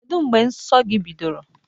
Kedụ mgbe nsọ gị bidoro?